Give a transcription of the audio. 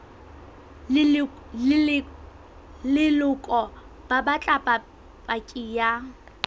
leloko ba batla paki ya